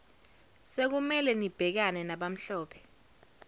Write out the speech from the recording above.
sekumele nibhekane nabamhlophe